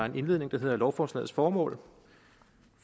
en indledning der hedder lovforslagets formål